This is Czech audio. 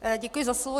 Děkuji za slovo.